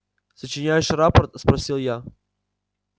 сочиняешь рапорт спросил я